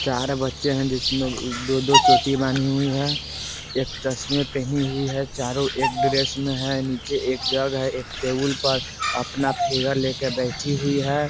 चार बच्चे हैं जिसमे दो-दो चोटी बनी हुई हैं एक चस्मे पहनी हुई हैं चारो एक ड्रेस में है नीचे एक जग है एक टेबल पर अपना फिगर लेके बैठी हुईं हैं।